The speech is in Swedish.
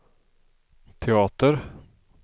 teater